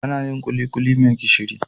Anayin kulikuli me gishiri